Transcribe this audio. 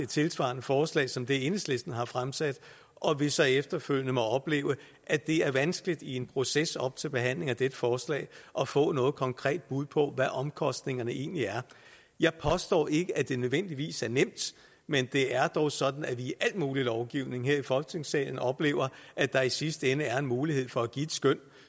tilsvarende forslag nøjagtig som det enhedslisten har fremsat og at vi så efterfølgende må opleve at det er vanskeligt i en proces op til behandling af dette forslag at få noget konkret bud på hvad omkostningerne egentlig er jeg påstår ikke at det nødvendigvis er nemt men det er dog sådan at vi i al mulig lovgivning her i folketingssalen oplever at der i sidste ende er en mulighed for at give et skøn